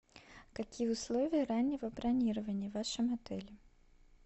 какие условия раннего бронирования в вашем отеле